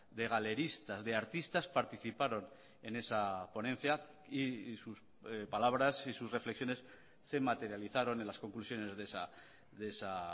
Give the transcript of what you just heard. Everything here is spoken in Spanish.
de galeristas de artistas participaron en esa ponencia y sus palabras y sus reflexiones se materializaron en las conclusiones de esa